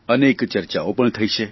અનેક ચર્ચાઓ પણ થઇ છે